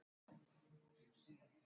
Loftveig, mun rigna í dag?